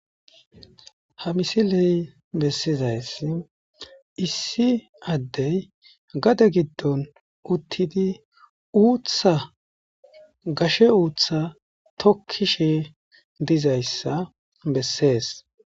ha misiley bessizaysi issi addey gade giddon uttidi uuththa gashe uutha tokkishe dizayssa bessees